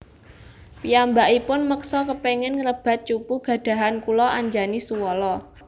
Piyambakipun meksa kepingin ngrebat cupu gadhahan kula Anjani suwala